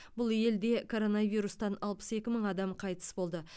бұл елде коронавирустан алпыс екі мың адам қайтыс болды